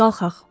Qalxaq.